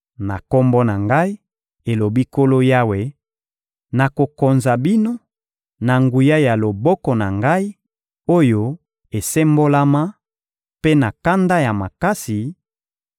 Na Kombo na Ngai, elobi Nkolo Yawe, nakokonza bino, na nguya ya loboko na Ngai, oyo esembolama, mpe na kanda makasi;